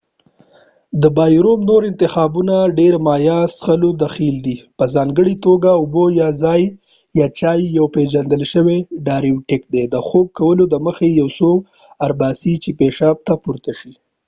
د بایرویوم نور انتخابونه د ډیری مایع څښلو کې دخیل دي په ځانګړي توګه اوبه یا چای، یو پیژندل شوی ډایورټیک د خوب کولو دمخه ، یو څوک اړ باسي چې پیشاب ته پورته شي۔